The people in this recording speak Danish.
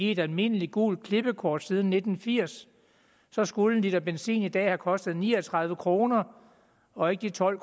et almindeligt gult klippekort siden nitten firs så skulle en liter benzin i dag have kostet ni og tredive kroner og ikke de tolv